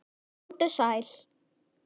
Komdu sæl.